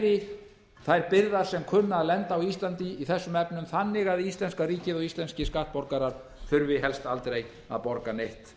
beri þær byrðar sem kunna að lenda á íslandi í þessum efnum þannig að íslenska ríkið og íslenskir skattborgarar þurfi helst aldrei að borga neitt